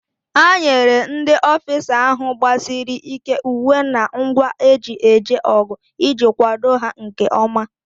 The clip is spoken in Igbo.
A enyere ndị ọfisa ahụ gbasiri ị́ké uwe na ngwa eji eje ọgụ iji kwado ha nkeọma.